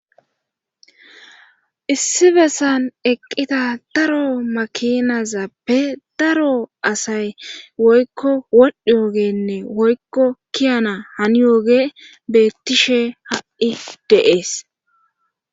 issi bessan eqqita daro makinazappe daro asay woykko wodhdhi yoogenne woykko kiyana hani yooge beettishe ha7i deees